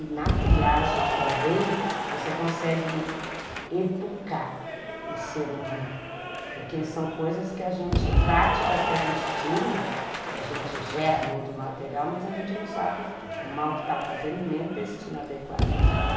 E na triagem também você consegue educar o ser humano, porque são coisas que a gente, são práticas que a gente tinha, que a gente gera muito material, mas a gente não sabe o mal que está fazendo e nem o destino adequado para dar.